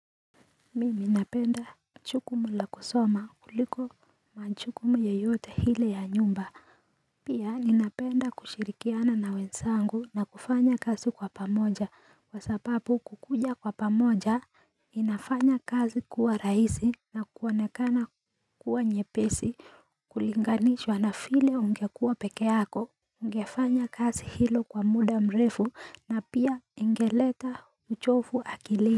Mimi napenda jukumu la kusoma kuliko majukumu yeyote ile ya nyumba Pia ninapenda kushirikiana na wenzangu na kufanya kazi kwa pamoja kwa sababu kukuja kwa pamoja inafanya kazi kuwa rahisi na kuonekana kuwa nyepesi kulinganishwa na vile ungekuwa pekee yako Ungefanya kazi hilo kwa muda mrefu na pia ingeleta uchovu akili.